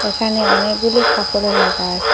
এখানে অনেকগুলি খাপড়ও রাকা আচে ।